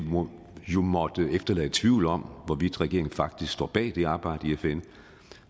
jo må efterlade tvivl om hvorvidt regeringen faktisk står bag det arbejde i fn